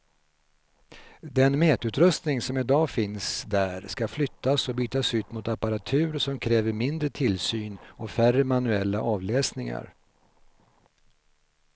Den mätutrustning som i dag finns där ska flyttas och bytas ut mot apparatur som kräver mindre tillsyn och färre manuella avläsningar.